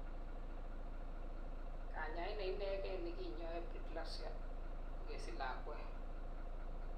kanyaet neinegen nekinyoen preeclampsia kokesich lakwet